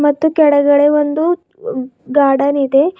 ಮತ್ತು ಕೆಳಗಡೆ ಒಂದು ಉ ಗಾರ್ಡನ್ ಇದೆ.